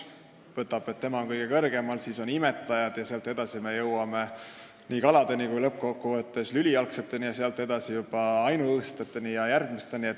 Ta võtab asja nii, et tema on kõige kõrgemal, siis on imetajad, sealt edasi me jõuame kalade ja lülijalgseteni, lõppkokkuvõttes juba ainuõõsseteni jne.